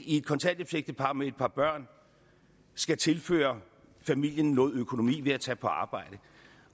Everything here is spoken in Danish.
i et kontanthjælpsægtepar med et par børn skal tilføre familien noget økonomi ved at tage på arbejde